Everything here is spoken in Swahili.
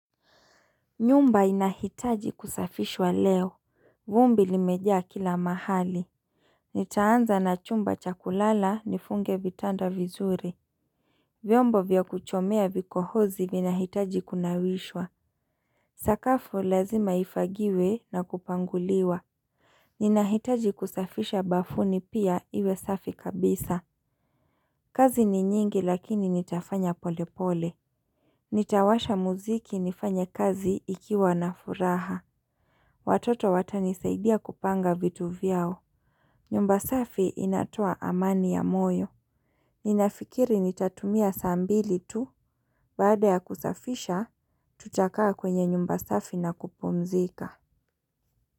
Nyumba inahitaji kusafishwa leo vumbi limeja kila mahali Nitaanza na chumba cha kulala nifunge vitanda vizuri vyombo vya kuchomea vikohozi vina hitaji kunawishwa Sakafu lazima ifagiwe na kupanguliwa Ninahitaji kusafisha bafuni pia iwe safi kabisa kazi ni nyingi lakini nitafanya pole pole Nitawasha muziki nifanya kazi ikiwa na furaha Watoto watanisaidia kupanga vitu vyao. Nyumba safi inatoa amani ya moyo. Ninafikiri nitatumia saa mbili tu baada ya kusafisha tutakaa kwenye nyumba safi na kupumzika.